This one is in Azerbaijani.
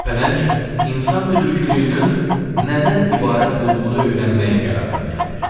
Pələng insan müdrikliyinin nədən ibarət olduğunu öyrənmək qərarına gəldi.